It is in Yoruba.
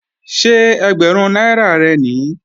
Ṣé ẹgbẹ̀rún náírà rẹ̀ nìí?